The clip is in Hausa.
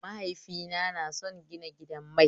Mahaifina na son gina gidan mai